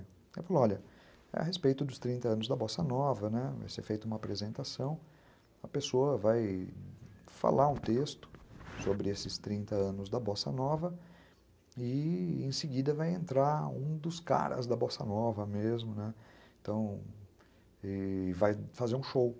Eu falo, olha, é a respeito dos trinta anos da Bossa Nova, né, vai ser feita uma apresentação, a pessoa vai falar um texto sobre esses trinta anos da Bossa Nova e em seguida vai entrar um dos caras da Bossa Nova mesmo, né, e vai fazer um show.